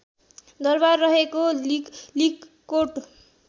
दरबार रहेको लिगलिगकोट